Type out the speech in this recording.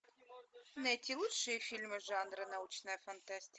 найти лучшие фильмы жанра научная фантастика